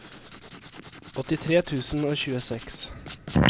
åttitre tusen og tjueseks